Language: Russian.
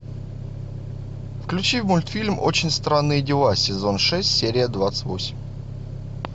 включи мультфильм очень странные дела сезон шесть серия двадцать восемь